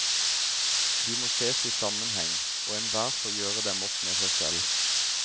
De må ses i sammenheng, og enhver får gjøre dem opp med seg selv.